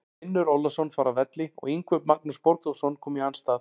Finnur Ólafsson fór af velli og Yngvi Magnús Borgþórsson kom í hans stað.